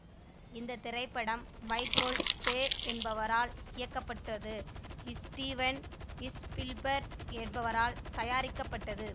இந்த திரைப்படம் Michael Bay என்பவரால் இயக்கப்பட்டு ஸ்டீவென் ஸ்பீல்பர்க் என்பவரால் தயாரிக்கப்பட்டது